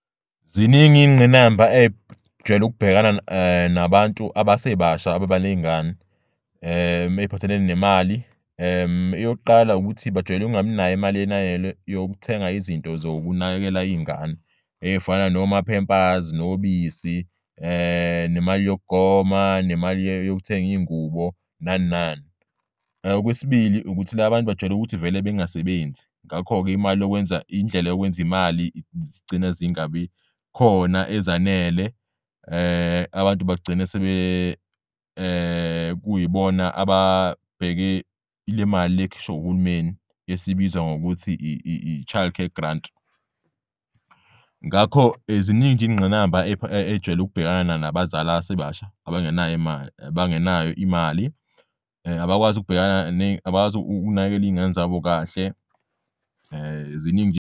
Ziningi iy'ngqinamba ey'jwayel'ukubhekana nabantu abasebasha ababa ney'ngane ey'phathelene nemali eyokuqala ukuthi bajwayel'ukungabinay'mali yokuthenga izinto zokunakekela iy'ngane ey'fana noma-Pampers, nobisi nemali yokugoma nemali yokutheng'iy'ngubo nani nani. Okwesibil,i ukuthi labantu bajwayel'ukuthi vele bengasebenzi ngakho-ke imali yokwenza indlela yokwenz' imali zigcina zingabi khona ezanele abantu bagcine kuyibona ababheke lemali le ekhishwa uhulumeni esibizwa ngokuthi i-Child Care Grant. Ngakho ziningi iy'ngqinamba ejwayele ukubhekana nabazali abasebasha abangenay'imali, abangenayo imali abakwazi ukunakekela iy'ngane zabo kahle ziningi nje.